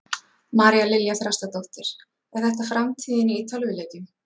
María Lilja Þrastardóttir: Er þetta framtíðin í tölvuleikjum?